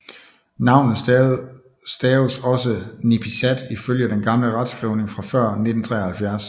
Navnet staves også Nipisat ifølge den gamle retskrivning fra før 1973